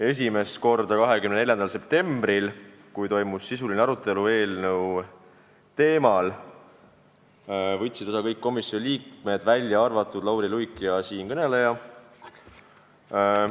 Esimest korda 24. septembril, kui toimus sisuline arutelu eelnõu teemal ja istungist võtsid osa kõik komisjoni liikmed, v.a Lauri Luik ja siinkõneleja.